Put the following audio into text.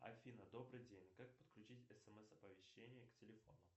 афина добрый день как подключить смс оповещение к телефону